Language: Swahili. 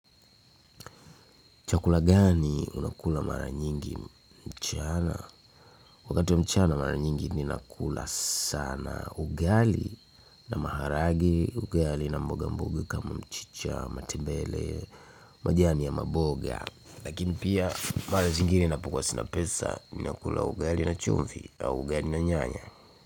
Chakula gani unakula mara nyingi mchana? Wakati wa mchana mara nyingi ninakula sana ugali na maharage, ugali na mboga mboga kama mchicha, matebele, majani ya maboga. Lakini pia mahali zingine ninapokuwa sina pesa ninakula ugali na chumvi au ugali na nyanya.